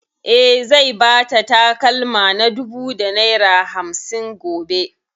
E, zai ba ta takalma na dubu da naira hamsin gobe.